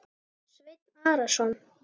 Sveinn Arason.